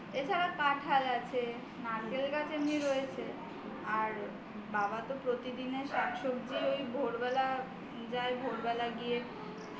তাছাড়া কাঁঠাল আছে নারকেল গাছ এমনিতে রয়েছে আর বাবা তো প্রতিদিনের শাকসবজি ওই ভোরবেলা যায় ভোরবেলা গিয়ে